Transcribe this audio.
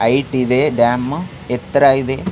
ಹೇಯ್ಗ್ತ್ ಇದೆ ಡ್ಯಾಮ್ ಎತ್ತರ ಇದೆ.